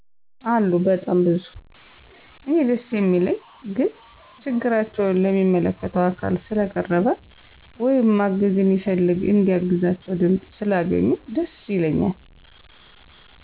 አሉ በጣም ብዙ። እኔ ደስ የሚለኝ ግን ችግራቸው ለሚመለከተው አካል ስለቀረበ ወይም ማገዝ የሚፈልግ እንዲያግዛቸው ድምፅ ስላገኙ ደስ ይለኛል።